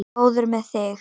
Góður með þig.